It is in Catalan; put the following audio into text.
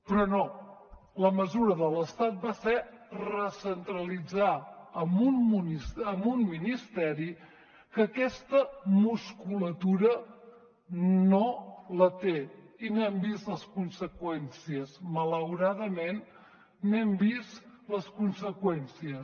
però no la mesura de l’estat va ser recentralitzar en un ministeri que aquesta musculatura no la té i n’hem vist les conseqüències malauradament n’hem vist les conseqüències